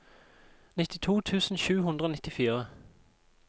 nittito tusen sju hundre og nittifire